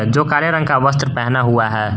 जो काले रंग का वस्त्र पहना हुआ है।